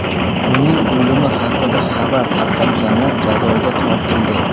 Uning o‘limi haqida xabar tarqatganlar jazoga tortildi .